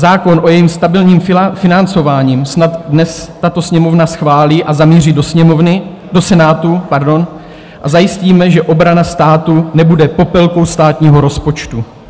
Zákon o jejím stabilním financování snad dnes tato Sněmovna schválí a zamíří do Senátu a zajistíme, že obrana státu nebude popelkou státního rozpočtu.